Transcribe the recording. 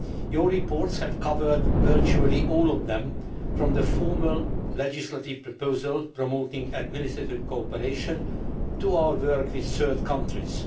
Your reports have covered virtually all of them, from the formal legislative proposal promoting administrative cooperation to our work with third countries.